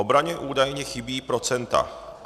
Obraně údajně chybí procenta.